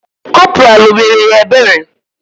Corporal emere ya ebere?